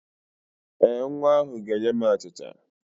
Ee, nwa ahụ ga-enye m achịcha